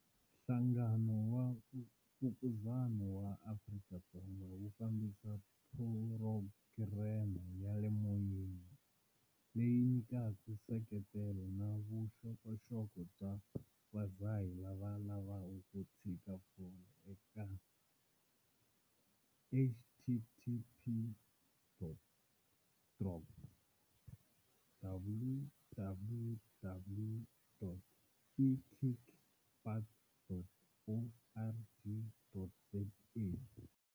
Nhlangano wa Mfukuzani wa Afrika-Dzonga wu fambisa phurogireme ya le moyeni, leyi nyikaka nseketelo na vuxokoxoko bya vadzahi lava lavaka ku tshika fole eka- htt dot www.ekickbutt.org.za.